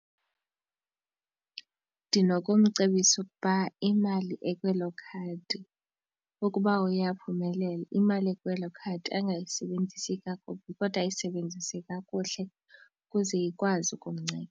Ndinokumcebisa ukuba imali ekwelo khadi ukuba uyaphumelela imali kwelo khadi angayisebenzisi kakubi kodwa ayisebenzise kakuhle ukuze ikwazi ukumnceda.